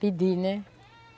Pedi, né?